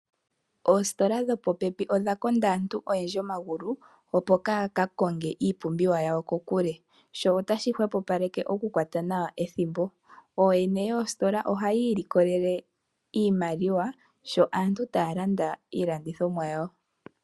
Oositola dho po pepi odha konda aantu oyendji omagulu kaaya ka konge iipumbiwa yawo kokule. Sho otashi hwepo paleke oku kwata nawa ethimbo. Ooyene yoositola ohaya ilikolele iimaliawa sho aantu taya landa iilandithomwa yawo.